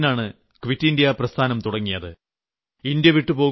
August 8 നാണ് quit India പ്രസ്ഥാനം തുടങ്ങിയത്